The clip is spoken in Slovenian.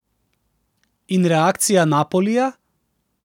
In reakcija Napolija?